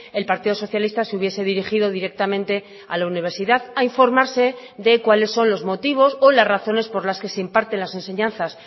el partido socialista se hubiese dirigido directamente a la universidad a informarse de cuáles son los motivos o las razones por las que se imparten las enseñanzas